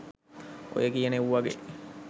ඔය කියන එව්වාගේ